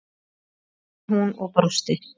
spurði hún og brosti.